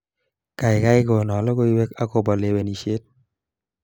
Kaikai kono logoiwek akobo lewenishet